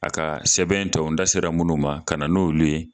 A ka sɛbɛn tɔ n da sera minnu ma ka na n'olu ye